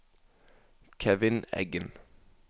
Kevin Eggen